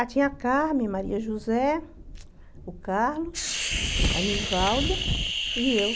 Tinha a Carmem, a Maria José, o Carlos, a Nivalda e eu.